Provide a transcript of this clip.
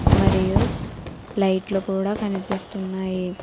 మరియు లైట్లు కూడ కనిపిస్తున్నాయి.